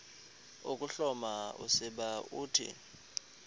ukuhloma usiba uthi